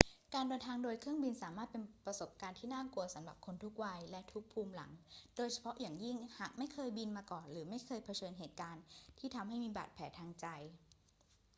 การเดินทางโดยเครื่องบินสามารถเป็นประสบการณ์ที่น่ากลัวสำหรับคนทุกวัยและทุกภูมิหลัง โดยเฉพาะอย่างยิ่งหากไม่เคยบินมาก่อนหรือเคยเผชิญเหตุการณ์ที่ทำให้มีบาดแผลทางใจ